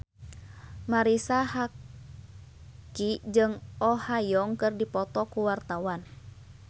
Marisa Haque jeung Oh Ha Young keur dipoto ku wartawan